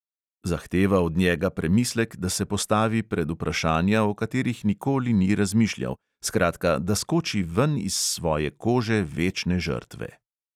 Zahteva od njega premislek, da se postavi pred vprašanja, o katerih nikoli ni razmišljal, skratka, da skoči ven iz svoje kože večne žrtve.